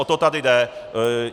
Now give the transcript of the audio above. O to tady jde.